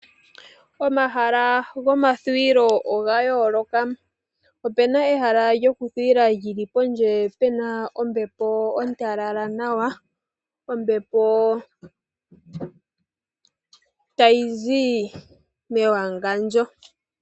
Omahala gomathuwilo oga yooloka. Opena ehala lyokuthuwila lyili pondje pena ombepo ontalala nawa, ombepo tayi zi mewangandjo.